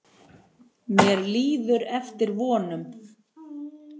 Mér líður eftir vonum.